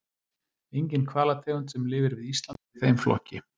Engin hvalategund sem lifir við Ísland er í þeim flokki.